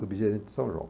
Subgerente de São João.